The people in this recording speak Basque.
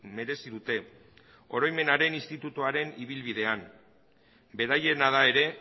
merezi dute oroimenaren institutuaren ibilbidean beraiena da ere